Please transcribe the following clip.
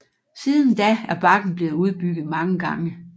Siden da er bakken blevet udbygget mange gange